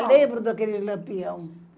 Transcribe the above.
lembro daqueles Lampião.